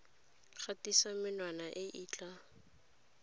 gatisa menwana e e tla